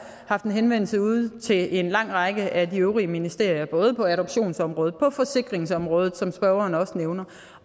haft en henvendelse ude til en lang række af de øvrige ministerier både på adoptionsområdet og på forsikringsområdet som spørgeren også nævner